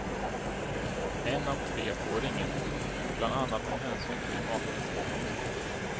En av tre får inget, bland annat med hänsyn till makens inkomster.